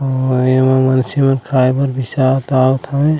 और एमा मनसे मन खाये बर बिसात आवत हवे।